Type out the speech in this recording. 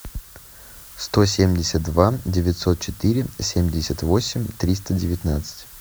сто семьдесят два девятьсот четыре семьдесят восемь триста девятнадцать